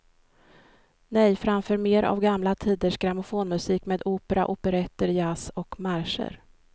Nej, framför mer av gamla tiders grammofonmusik med opera, operetter, jazz och marscher.